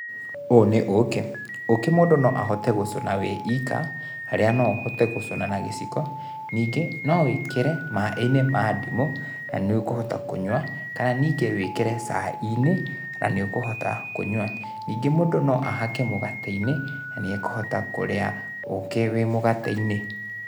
úũ níĩ ũkĩ, ũkĩ mũndũ no ahote gũcũna wĩwika, harĩa no ũhote gũcũna na gĩciko, ningĩ no wĩkĩre maĩnĩ ma ndimũ, nanĩũkũhota kũnyũa, kana nĩngĩ wĩkĩre cainĩ, na nĩũkũhota kũnyũa. Ningĩ mũndũ no ahake mũgateĩnĩ na nĩekũhota kũria ukĩ wĩĩ mũgateĩnĩ.